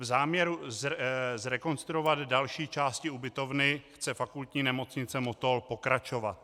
V záměru zrekonstruovat další části ubytovny chce Fakultní nemocnice Motol pokračovat.